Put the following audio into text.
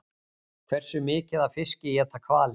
Hversu mikið af fiski éta hvalir?